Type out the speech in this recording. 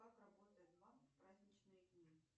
как работает банк в праздничные дни